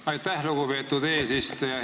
Aitäh, lugupeetud eesistuja!